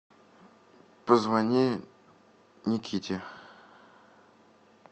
позвони никите